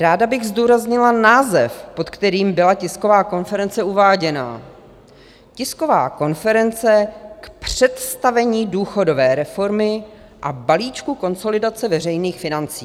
Ráda bych zdůraznila název, pod kterým byla tisková konference uváděna - Tisková konference k představení důchodové reformy a balíčku konsolidace veřejných financí.